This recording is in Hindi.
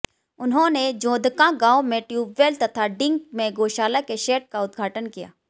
उन्होंने जोधकां गांव में ट्यूबवैल तथा डिंग में गौशाला के शैड का उद्घाटन किया